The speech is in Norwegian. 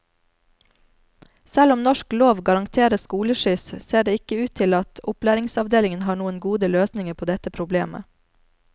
Selv om norsk lov garanterer skoleskyss, ser det ikke ut til at opplæringsavdelinga har noen gode løsninger på dette problemet.